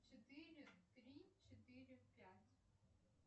четыре три четыре пять